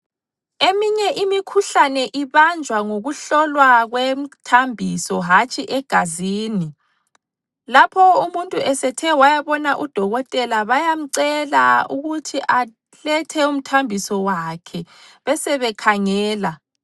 Eminye imikhuhlane ibanjwa ngokuhlolwa kwemthambiso hatshi egazini, lapho umuntu esethe wayabona udokotela bayamcela ukuthi alethe umthambiso wakhe besebekhangela.